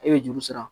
E bɛ juru sara